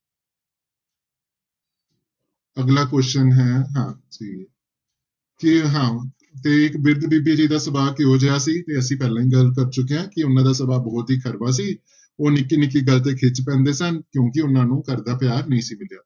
ਅਗਲਾ question ਹੈ ਹਾਂ ਤੇ ਹਾਂ ਤੇ ਇੱਕ ਬਿਰਧ ਬੀਬੀ ਜੀ ਦਾ ਸੁਭਾਅ ਕਿਹੋ ਜਿਹਾ ਸੀ, ਇਹ ਅਸੀਂ ਪਹਿਲਾਂ ਹੀ ਚੁੱਕੇ ਹਾਂ ਕਿ ਉਹਨਾਂ ਦਾ ਸੁਭਾਅ ਬਹੁਤ ਹੀ ਕੜਵਾ ਸੀ ਉਹ ਨਿੱਕੀ ਨਿੱਕੀ ਗੱਲ ਤੇ ਖਿਝ ਪੈਂਦੇ ਸਨ ਕਿਉਂਕਿ ਉਹਨਾਂ ਨੂੰ ਘਰਦਾ ਪਿਆਰ ਨਹੀਂ ਸੀ ਮਿਲਿਆ।